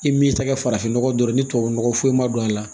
I m'i tɛgɛ farafinnɔgɔ dɔrɔn ni tubabu nɔgɔ foyi foyi ma don a la